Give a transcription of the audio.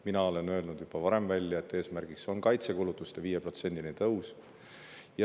Mina olen juba varem öelnud, et eesmärk on kaitsekulutuste tõus 5%‑ni.